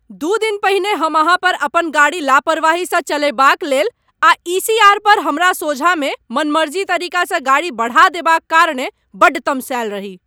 दू दिन पहिने हम अहाँ पर अपन गाड़ी लापरवाहीसँ चलयबाक लेल आ ई. सी. आर. पर हमरा सोझाँमे मनमर्जी तरीकासँ गाड़ी बढ़ा देबाक कारणेँ बड्ड तमसायल रही।